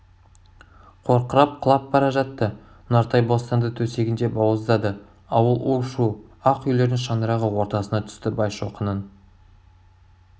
қорқырап құлап бара жатты нұртай бостанды төсегінде бауыздады ауыл у-шу ақ үйлердің шаңырағы ортасына түсті байшоқының